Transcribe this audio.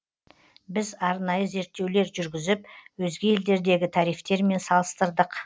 біз арнайы зерттеулер жүргізіп өзге елдердегі тарифтермен салыстырдық